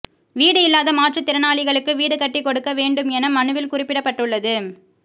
வீடு இல்லாத மாற்றுத்திறனாளிகளுக்கு வீடு கட்டி கொடுக்க வேண்டும் என மனுவில் குறிப்பிடப்பட்டுள்ளது